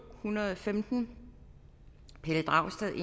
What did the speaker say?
hundrede og femten pelle dragsted